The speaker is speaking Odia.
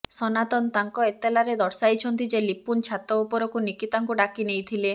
ସନାତନ ତାଙ୍କ ଏତଲାରେ ଦର୍ଶାଇଛନ୍ତି ଯେ ଲିପୁନ୍ ଛାତ ଉପରକୁ ନିକିତାଙ୍କୁ ଡାକି ନେଇଥିଲେ